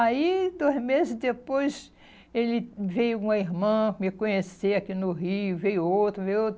Aí, dois meses depois, ele veio uma irmã me conhecer aqui no Rio, veio outro, veio outro.